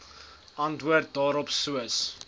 antwoord daarop soos